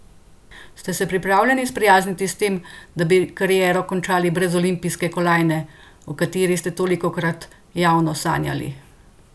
Ste se pripravljeni sprijazniti s tem, da bi kariero končali brez olimpijske kolajne, o kateri ste tolikokrat javno sanjali?